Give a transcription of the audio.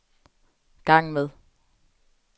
gang med